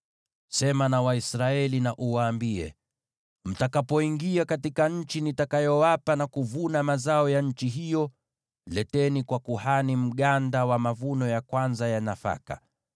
“Sema na Waisraeli na uwaambie: ‘Mtakapoingia katika nchi nitakayowapa na kuvuna mazao ya nchi hiyo, leteni kwa kuhani mganda wa nafaka ya kwanza mtakayovuna.